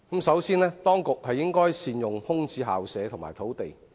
首先，當局應善用空置校舍和土地。